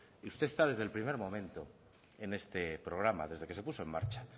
usted está desde el primer momento en este programa desde que se puso en marcha